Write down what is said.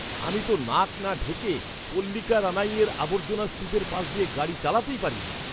আমি তো নাক না ঢেকে পাল্লিকারানাইয়ের আবর্জনার স্তূপের পাশ দিয়ে গাড়ি চালাতেই পারি না।